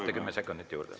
Saate kümme sekundit juurde.